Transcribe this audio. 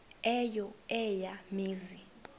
eyo eya mizi